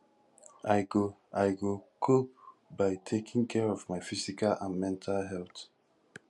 i go i go cope by taking care of my physical and mental health